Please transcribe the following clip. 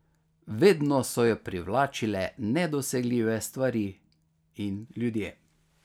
Vedno so jo privlačile nedosegljive stvari in ljudje.